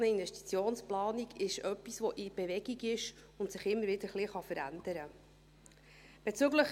Eine solche Investitionsplanung ist etwas, das in Bewegung ist und sich immer wieder ein wenig verändern kann.